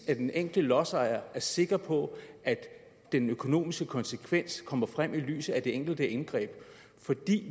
at den enkelte lodsejer er sikker på at den økonomiske konsekvens kommer frem i lyset af det enkelte indgreb for